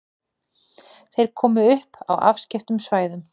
Þeir komu upp á afskekktum svæðum.